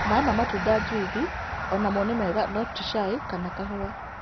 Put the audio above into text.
Maĩ ma matũnda( jũicĩ) onamwo nĩ mega no tĩ caĩ kana kahũa